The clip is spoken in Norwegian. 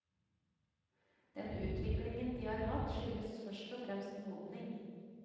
Den utviklingen de har hatt, skyldes først og fremst modning.